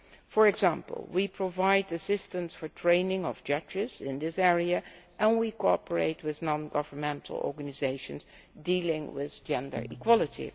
For example, we provide assistance for the training of judges in this area and we cooperate with non governmental organisations dealing with gender equality.